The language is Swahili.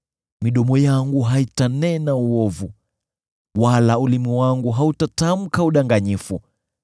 midomo yangu haitanena uovu, wala ulimi wangu hautatamka udanganyifu.